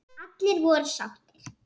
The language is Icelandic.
Allir voru sáttir.